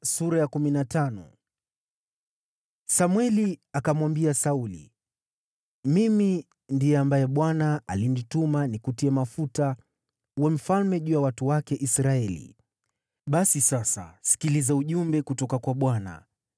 Samweli akamwambia Sauli, “Mimi ndiye ambaye Bwana alinituma nikutie mafuta uwe mfalme juu ya watu wake Israeli, basi sasa sikiliza ujumbe kutoka kwa Bwana .